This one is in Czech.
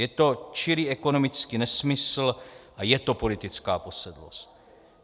Je to čirý ekonomický nesmysl a je to politická posedlost.